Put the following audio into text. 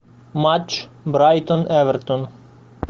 матч брайтон эвертон